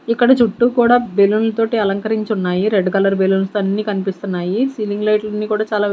ఇక్కడ చుట్టూ కూడా బెలూన్ల తోటి అలంకరించి ఉన్నాయి రెడ్ కలర్ బెలూన్స్ అన్నీ కనిపిస్తున్నాయి సీలింగ్ లైట్ అన్ని కూడా చాలా--